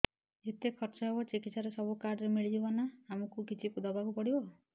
ଯେତେ ଖର୍ଚ ହେବ ଚିକିତ୍ସା ରେ ସବୁ କାର୍ଡ ରେ ମିଳିଯିବ ନା ଆମକୁ ବି କିଛି ଦବାକୁ ପଡିବ